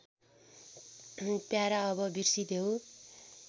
para अब बिर्सिदेऊ